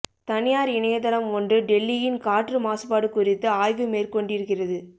தனியார் இணையதளம் ஒன்று டெல்லியின் காற்று மாசுபாடு குறித்து ஆய்வு மேற்கொண்டிருக்கிறது